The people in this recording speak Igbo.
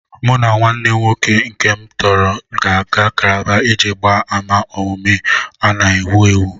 Mụ na nwanne m nwoke nke tọrọ m gara Kálábá iji gbaa àmà omume a na-ewu ewu